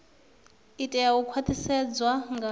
i tea u khwaṱhisedzwa nga